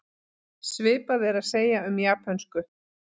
Svipað er að segja um japönsku.